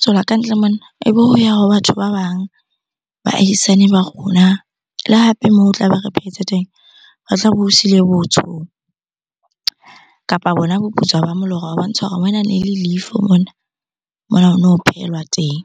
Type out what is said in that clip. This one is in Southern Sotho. tswela kantle mona ebe ho ya ho batho ba bang, baahisane ba rona. Le hape moo tlabe re phetse teng, re tlabe o siile botsho, kapa bona boputswa ba molora ho bontsha hore mona ne le leifo mona. Mona ho no phehelwa teng.